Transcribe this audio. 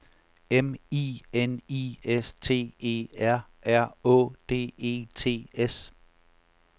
M I N I S T E R R Å D E T S